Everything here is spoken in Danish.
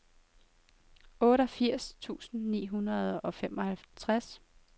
otteogfirs tusind ni hundrede og femoghalvtreds